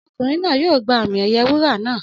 Ọmọkùnrin náà yóò gba àmì ẹ̀yẹ wúrà naa.